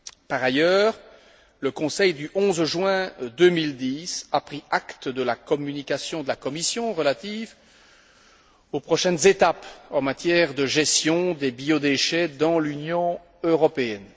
Par ailleurs, le Conseil du 11 juin 2010 a pris acte de la communication de la Commission relative aux prochaines étapes en matière de gestion des biodéchets dans l'Union européenne.